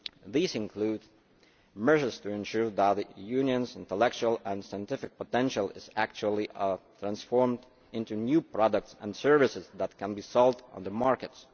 these include measures to ensure that the Union's intellectual and scientific potential is actually transformed into new products and services which can be sold on the markets.